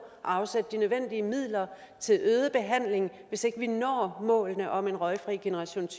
at afsætte de nødvendige midler til øget behandling hvis ikke vi når målene om en røgfri generation